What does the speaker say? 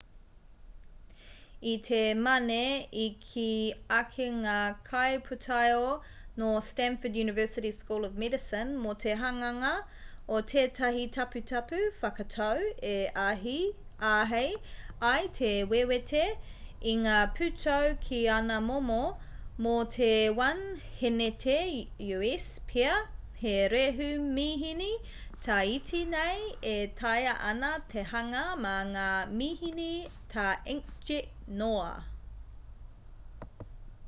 i te mane i kī ake ngā kaipūtaiao nō stanford university school of medicine mō te hanganga o tētahi taputapu whakatau e āhei ai te wewete i ngā pūtau ki ana momo: mō te 1 hēneti u.s pea he rehu-mihini tā iti nei e taea ana te hanga mā ngā mihini tā inkjet noa